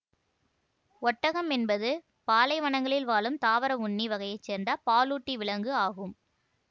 ஒட்டகம் என்பது பாலைவனங்களில் வாழும் தாவர உண்ணி வகையை சேர்ந்த பாலூட்டி விலங்கு ஆகும்